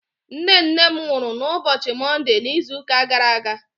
nne nne m nwuru n'ubochi monde n'izu uka gara aga